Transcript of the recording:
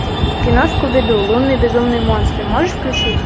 кино скуби ду лунный безумный монстр можешь включить